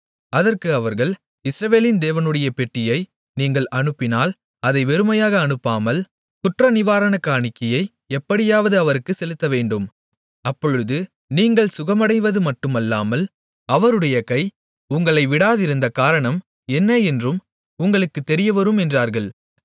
அதற்கு அவர்கள் இஸ்ரவேலின் தேவனுடைய பெட்டியை நீங்கள் அனுப்பினால் அதை வெறுமையாக அனுப்பாமல் குற்றநிவாரணக் காணிக்கையை எப்படியாவது அவருக்குச் செலுத்தவேண்டும் அப்பொழுது நீங்கள் சுகமடைவதும் மட்டுமில்லாமல் அவருடைய கை உங்களை விடாதிருந்த காரணம் என்ன என்றும் உங்களுக்குத் தெரியவரும் என்றார்கள்